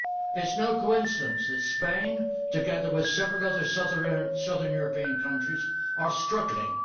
It is no coincidence that Spain, together with several other southern European countries, is struggling.